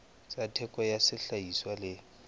tsa theko ya sehlahiswa le